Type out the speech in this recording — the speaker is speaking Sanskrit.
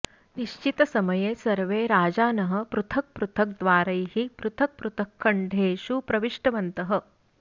निश्चितसमये सर्वे राजानः पृथक् पृथक् द्वारैः पृथक् पृथक् खण्डेषु प्रविष्टवन्तः